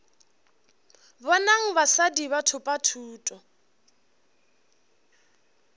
bonang basadi ba thopa thuto